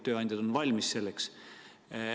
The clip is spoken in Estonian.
Tööandjad on selleks valmis.